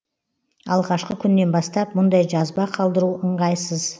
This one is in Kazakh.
алғашқы күннен бастап мұндай жазба қалдыру ыңғайсыз